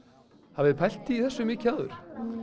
hafið þið pælt í þessu mikið áður